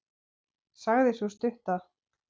sagði sú stutta.